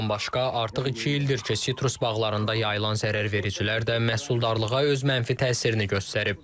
Bundan başqa artıq iki ildir ki, sitrus bağlarında yayılan zərərvericilər də məhsuldarlığa öz mənfi təsirini göstərib.